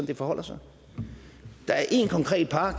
det forholder sig der er én konkret park